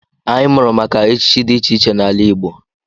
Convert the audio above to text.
Anyị mụrụ maka echichi dị iche iche n'ala Igbo.